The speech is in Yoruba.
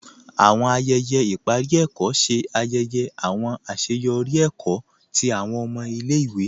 Àwọn ayẹyẹ iparí èkó ṣè ayẹyẹ àwọn aṣeyọri èkó tí àwọn ọmọ ilẹ̀-ìwé.